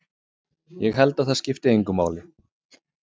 Ég held að það skipti engu máli.